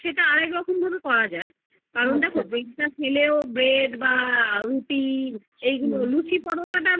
আরেক রকম ভাবেও করা যায় bread টা খেলেও bread বা রুটি লুচি পরোটা